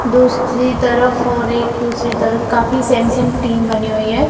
दुसरी तरफ और एक दूसरी तरफ काफी सेम सेम टीम बनी हुई है।